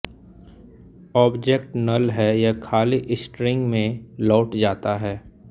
object null है यह खाली स्ट्रिंग में लौट जाता है